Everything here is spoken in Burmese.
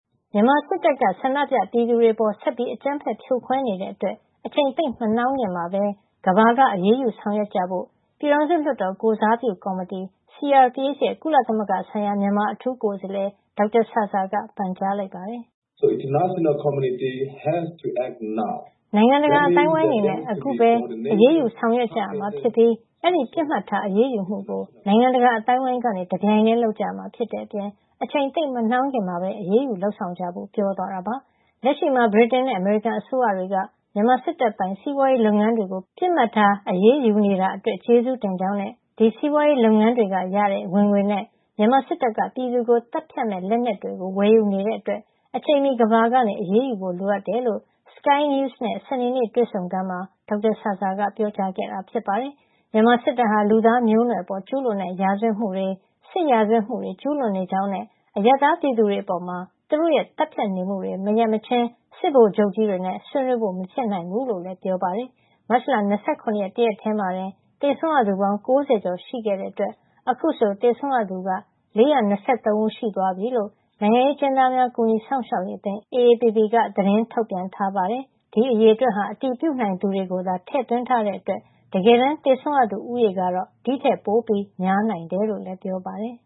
မြန်မာစစ်တပ်က ဆန္ဒပြပြည်သူတွေ အပေါ် ဆက်ပြီး အကြမ်းဖက်ဖြိုခွဲ နေတဲ့အတွက် အချိန်သိပ်မနှောင်းခင် ကမ္ဘာက အရေးယူဆောင်ရွက်ကြဖို့ ပြည်ထောင်စုလွှတ်တော် ကိုယ်စားပြုကော်မတီ CRPH ရဲ့ ကုလသမဂ္ဂဆိုင်ရာ မြန်မာအထူးကိုယ်စားလှယ် ဒေါက်တာဆာဆာ က ပန်ကြားလိုက်ပါတယ်။ နိုင်ငံတကာ အသိုင်းအဝိုင်းအနေနဲ့ အခုပဲ အရေးယူဆောင်ရွက် ကြရမှာ ဖြစ်ပြီး အဲဒီမှာ ပစ်မှတ်ထား အရေးယူမှုကို နိုင်ငံတကာ အသိုင်းဝိုင်းက တပြိုင်တည်း လုပ်ကြရမှာ ဖြစ်တဲ့ အပြင် အချိန်သိပ်မနှောင်းခင်မှာ ပဲ အရေးယူလုပ်ဆောင်ကြဖို့ ပြောသွားတာပါ။ လက်ရှိမှာ ဗြိတိန်နဲ့ အမေရိကန်အစိုးရတွေက မြန်မာစစ်တပ်ပိုင် စီပွါးရေးလုပ်ငန်းတွေကို ပစ်မှတ်ထား အရေးယူနေတာအတွက် ကျေးဇူးတင်ကြောင်းနဲ့ ဒီစီးပွါးရေးလုပ်ငန်း တွေကနေရတဲ့ ဝင်ငွေနဲ့ မြန်မာစစ်တပ်က ပြည်သူကို သတ်ဖြတ်မယ့် လက်နက်တွေဝယ်ယူနေတာကြောင့် အချိန်မှီ ကမ္ဘာက အရေးယူဖို့ လိုတယ်လို့ Sky News နဲ့ စနေနေ့ တွေ့ဆုံခန်းမှာ ဒေါက်တာဆာဆာက ပြောကြားခဲ့တာ ဖြစ်ပါတယ်။ မြန်မာစစ်တပ်ဟာ လူသားမျိုးနွယ်အပေါ်ကျူးလွန်တဲ့ ရာဇဝတ်မှုတွေ စစ်ရာဇဝတ်မှုတွေ ကျူးလွန်နေကြောင်းနဲ့ အရပ်သားပြည်သူတွေအပေါ် သူတို့ရဲ့ သတ်ဖြတ်နေမှုတွေ မရပ်မချင်း စစ်ဗိုလ်ချုပ်ကြီးတွေနဲ့ ဆွေးနွေးဖို့ မဖြစ်နိုင်ဘူးလို့လည်း ပြောပါတယ်။ မတ်လ ၂၇ ရက် တရက်ထဲမှာတင် သေဆုံးရသူပေါင်း ၉ ၀ ကျော်ရှိခဲ့တဲ့အတွက် အခုဆို သေဆုံးရသူ စုစုပေါင်း ၄၂၃ ဦး ရှိသွားပြီလို့ နိုင်ငံရေးအကျဉ်းသားများ ကူညီစောင့်ရှောက်ရေးအသင်း AAPP က သတင်းထုတ်ပြန်ထားပါတယ်။ ဒီအရေအတွက်ဟာ အတည်ပြုနိုင်သူတွေကို သာထည့်သွင်းထားတဲ့ အတွက် တကယ်တမ်း သေဆုံးရသူဦးရေကတော့ ဒီ့ထက်ပိုများနိုင်တယ်လို့လည်း ပြောပါတယ်